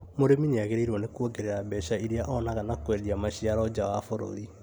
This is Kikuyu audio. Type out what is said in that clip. Mũrĩmi nĩagĩrĩirwo nĩ kuongerera mbeca irĩa onaga na kwendia maciaro nja wa bũrũri